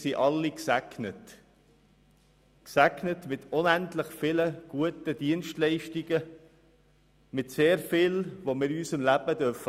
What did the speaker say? Wir alle sind gesegnet – wir sind gesegnet mit unendlich vielen, guten Dienstleistungen und sehr vielem, das wir in unserem Leben haben dürfen.